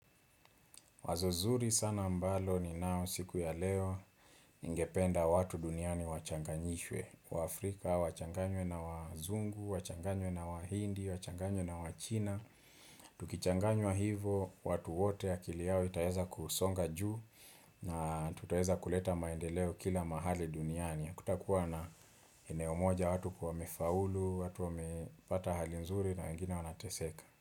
Wazo zuri sana ambalo ninao siku ya leo ningependa watu duniani wachanganyishwe wa Afrika, wachanganywe na wazungu, wachanganywe na wahindi, wachanganywe na wachina Tukichanganywa hivo, watu wote akili yao itaeza kusonga juu na tutaweza kuleta maendeleo kila mahali duniani hakutakuwa na eneo moja watu kuwa wamefaulu, watu wamepata hali nzuri na wengine wanateseka.